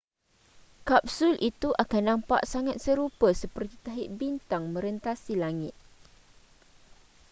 kapsul itu akan nampak sangat serupa seperti tahi bintang merentasi langit